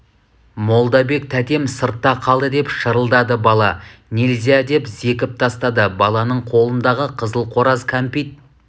молдабек тәтем сыртта қалды деп шырылдады бала нельзя деп зекіп тастады баланың қолындағы қызыл қораз кәмпит